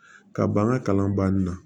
Ka ban ka kalan banni na